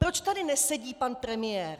Proč tady nesedí pan premiér?